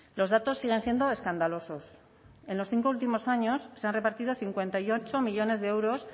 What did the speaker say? los datos siguen siendo escandaloso en los cinco últimos años se han repartido a cincuenta y ocho millónes de euros